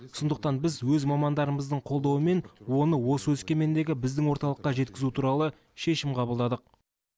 сондықтан біз өз мамандарымыздың қолдауымен оны осы өскемендегі біздің орталыққа жеткізу туралы шешім қабылдадық